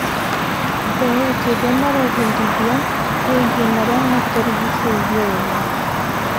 Mbeũ njĩthĩ marebundithia wĩgiĩ marĩa matũrigicĩirie wega.